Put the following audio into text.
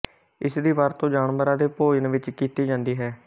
ਇਸ ਦੀ ਵਰਤੋਂ ਜਾਨਵਰਾਂ ਦੇ ਭੋਜਨ ਵਿੱਚ ਕੀਤੀ ਜਾਂਦੀ ਹੈ